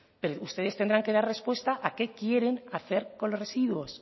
ustedes tendrán que dar respuesta a qué quieren hacer con los residuos